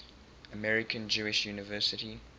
american jewish university